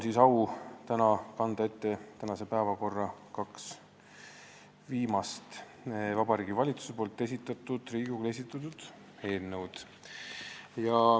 Minul on au kanda ette tänase päevakorra kaks viimast Vabariigi Valitsuselt Riigikogule esitatud eelnõu.